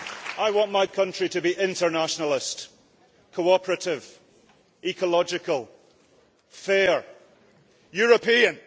I want my country to be internationalist, cooperative, ecological, fair, European.